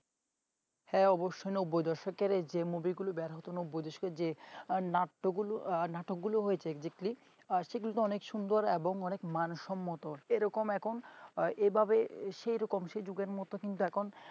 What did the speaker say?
হা অবশ্যই নব্বই দশকের যে movie লো বেড়াতো নব্বই দশকে নাট্যগুলো নাটকগুলো হয়েছে দেখলে সেগুলো তো অনেক সুন্দর এবং অনেক মানসম্মত তো এরকম এখন এভাবে সেরকম সে যুগের মত কিন্তু এখন